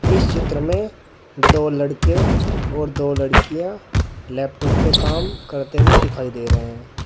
इस चित्र में दो लड़के और दो लड़कियां लैपटॉप पे काम करते हुए दिखाई दे रहे हैं।